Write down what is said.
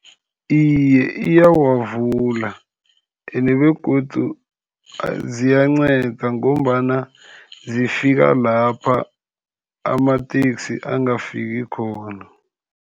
Iye, iyawavula ene begodu ziyanceda, ngombana zifika lapha amateksi angafiki khona.